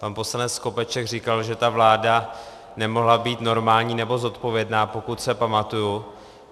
Pan poslanec Skopeček říkal, že ta vláda nemohla být normální nebo zodpovědná, pokud se pamatuji.